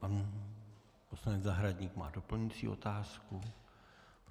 Pan poslanec Zahradník má doplňující otázku.